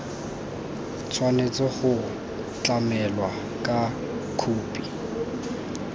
tshwanetse go tlamelwa ka khophi